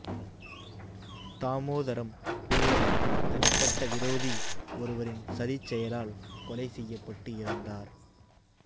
தாமோதரம் பிள்ளை தனிப்பட்ட விரோதி ஒருவரின் சதிச் செயலால் கொலை செயயப்பட்டு இறந்தார்